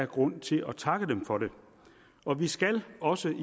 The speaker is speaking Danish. grund til at takke dem for det og vi skal også